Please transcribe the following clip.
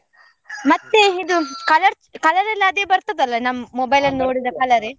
ಮತ್ತೆ ಇದು colour colour ಎಲ್ಲ ಅದೇ ಬರ್ತದೆ ಅಲ್ಲ ನಮ್ mobile ಅಲ್ ನೋಡಿದ colour ಏ.